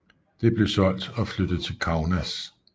Det blev solgt og flyttet til Kaunas